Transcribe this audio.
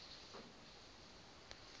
muvend a a si pfe